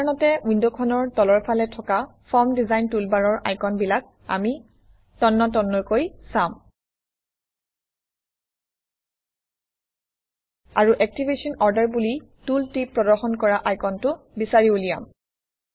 সাধাৰণতে উইণ্ডখনৰ তলৰফালে থকা ফৰ্ম ডিজাইন টুলবাৰৰ আইকনবিলাক আমি তন্নতন্নকৈ চাম আৰু এক্টিভেশ্যন অৰ্ডাৰ বুলি টুলটিপ প্ৰদৰ্শন কৰা আইকনটো বিচাৰি উলিয়াম